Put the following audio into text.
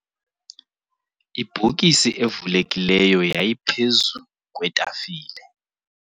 ibhokisi evulekileyo yayiphezu kwetafile.